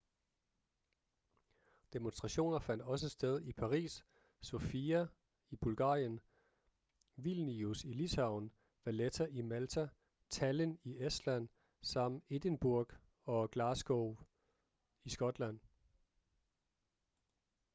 demonstrationer fandt også sted i paris sofia i bulgarien vilnius i litauen valetta i malta tallinn i estland samt edinburgh og glasgow i skotland